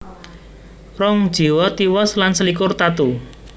Rong jiwa tiwas lan selikur tatu